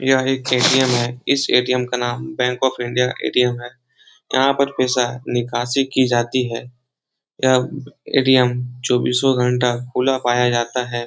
यह एक ए.टी.एम. है इस ए.टी.एम. का नाम बैंक ऑफ इंडिया ए.टी.एम. है यहाँ पर पैसा निकासी की जाती है यह ए.टी.एम. चौबीसो घंटा खुला पाया जाता है।